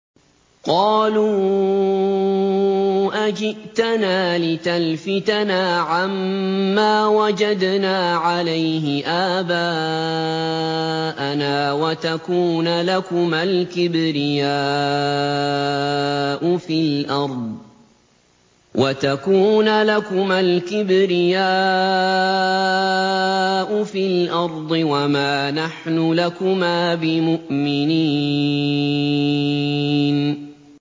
قَالُوا أَجِئْتَنَا لِتَلْفِتَنَا عَمَّا وَجَدْنَا عَلَيْهِ آبَاءَنَا وَتَكُونَ لَكُمَا الْكِبْرِيَاءُ فِي الْأَرْضِ وَمَا نَحْنُ لَكُمَا بِمُؤْمِنِينَ